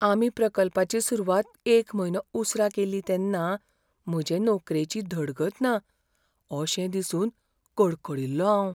आमी प्रकल्पाची सुरवात एक म्हयनो उसरां केल्ली तेन्ना म्हजे नोकरेची धडगत ना अशें दिसून कडकडील्लों हांव.